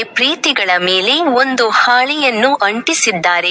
ಪ್ರೀತಿಗಳ ಮೇಲೆ ಒಂದು ಹಾಳೆಯನ್ನು ಅಂಟಿಸಿದ್ದಾರೆ.